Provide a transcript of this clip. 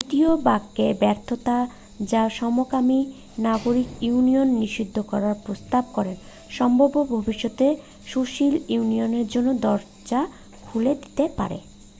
দ্বিতীয় বাক্যের ব্যর্থতা যা সমকামী নাগরিক ইউনিয়ন নিষিদ্ধ করার প্রস্তাব করে সম্ভবত ভবিষ্যতে সুশীল ইউনিয়নের জন্য দরজা খুলে দিতে পারে